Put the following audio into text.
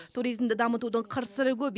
туризмді дамытудың қыр сыры көп